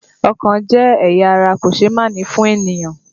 Ọkàn jẹ́ ẹ̀yà ara kòṣeémánìí fún ènìyàn